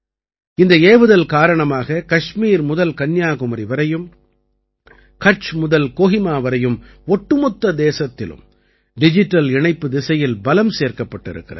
இந்த ஏவுதல் காரணமாக கஷ்மீர் முதல் கன்னியாகுமரி வரையும் கட்ச் முதல் கோஹிமா வரையும் ஒட்டுமொத்த தேசத்திலும் டிஜிட்டல் இணைப்புத் திசையில் பலம் சேர்க்கப்பட்டிருக்கிறது